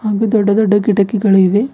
ಇಲ್ಲಿ ದೊಡ್ಡ ದೊಡ್ಡ ಕಿಡಕಿಗಳ ಇವೆ.